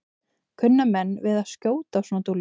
Kunna menn við að skjóta á svona dúllur?